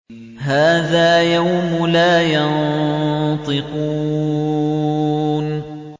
هَٰذَا يَوْمُ لَا يَنطِقُونَ